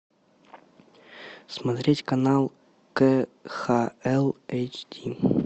смотреть канал кхл эйч ди